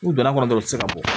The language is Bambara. N'u donna kɔnɔ dɔrɔn u ti se ka bɔ